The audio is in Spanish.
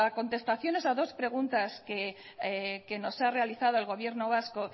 contestaciones a dos preguntas que nos ha realizado el gobierno vasco